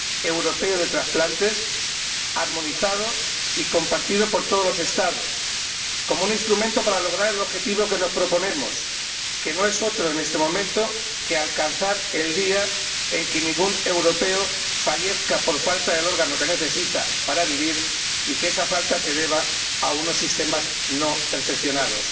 europeo de trasplantes armonizado y compartido por todos los Estados como un instrumento para lograr el objetivo que nos proponemos, que no es otro en este momento que alcanzar el día en el que ningún europeo fallezca por falta del órgano que necesita para vivir y que esa falta se deba a unos sistemas no perfeccionados.